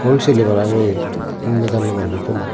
wholeseley parangeye eyottun nejanney manucchuney.